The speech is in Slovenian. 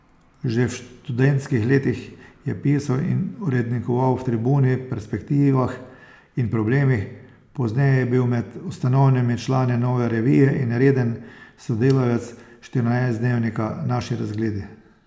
Že v študentskih letih je pisal in urednikoval v Tribuni, Perspektivah in Problemih, pozneje je bil med ustanovnimi člani Nove revije in reden sodelavec štirinajstdnevnika Naši razgledi.